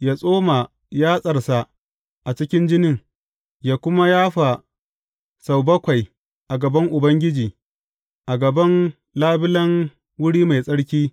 Yă tsoma yatsarsa a cikin jinin, yă kuma yafa sau bakwai a gaban Ubangiji, a gaban labulen wuri mai tsarki.